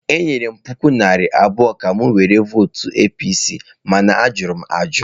Enyere m puku naira abụọ ka m were votụ APC, mana a jụrụ ajụ.